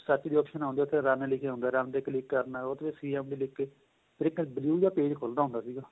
setting ਦੀ option ਆਉਦੀ ਏ ਉਥੇ run ਲਿਖਿਆਂ ਹੁੰਦਾ run ਤੇ click ਕਰਨਾ ਉਥੇ ਫ਼ਿਰ CM G ਲਿਖ ਕੇ ਫ਼ਿਰ ਇੱਕ blue ਜਾਂ page ਖੁੱਲਦਾ ਹੁੰਦਾ ਸੀਗਾ